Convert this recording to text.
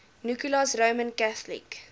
nicholas roman catholic